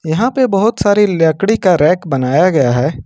यहां पे बहुत सारी लकड़ी का रैक बनाया गया है।